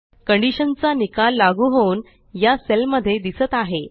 condition चा निकाल लागू होऊन या सेल मध्ये दिसत आहे